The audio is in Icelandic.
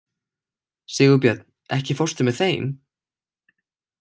Sigurbjörn, ekki fórstu með þeim?